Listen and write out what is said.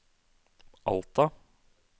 Alta